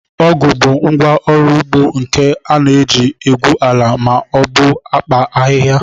Ọgụ bụ ngwá ọrụ ugbo nke a na-eji egwu ala ma obu kpaa ahịhịa